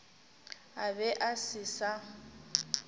a be a se sa